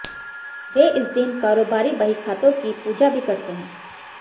वे इस दिन कारोबारी बहीखातों की पूजा भी करते हैं